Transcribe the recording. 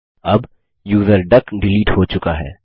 अब यूज़र डक डिलीट हो चुका है